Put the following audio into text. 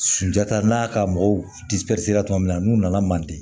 Sunjata n'a ka mɔgɔw tuma min na n'u nana manden